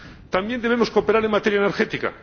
También debemos cooperar en materia energética.